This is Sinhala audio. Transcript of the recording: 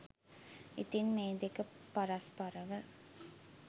ඉතින් මේ දෙක පරස්පරව